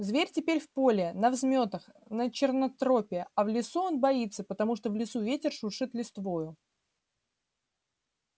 зверь теперь в поле на взмётах на чернотропе а в лесу он боится потому что в лесу ветер шуршит листвою